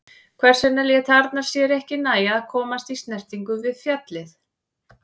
Hvers vegna lét Arnar sér það ekki nægja að komast í snertingu við fjallið?